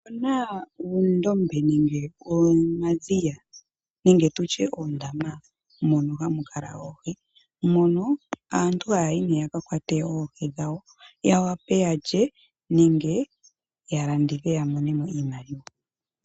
Otuna uundombe nenge omadhiya nenge oondama mono hamu kala oohi, mono aantu haya yi yakakwate oohi , yawape yalye nenge yalandithe yamonemo iimaliwa.